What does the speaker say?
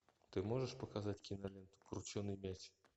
ты можешь показать киноленту крученый мяч